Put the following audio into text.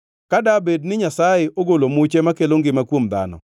Ka dabed ni Nyasaye ogolo muche makelo ngima kuom dhano,